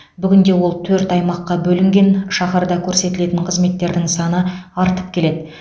бүгінде ол төрт аймаққа бөлінген шаһарда көрсетілетін қызметтердің саны артып келеді